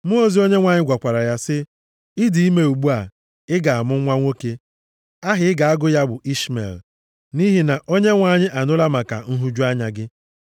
Mmụọ ozi Onyenwe anyị gwakwara ya sị, “Ị dị ime ugbu a, ị ga-amụ nwa nwoke. Aha ị ga-agụ ya bụ Ishmel nʼihi na Onyenwe anyị anụla maka nhụju anya gị.